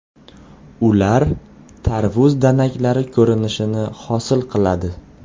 Ular tarvuz danaklari ko‘rinishini hosil qiladi.